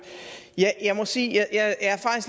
ja jeg må sige at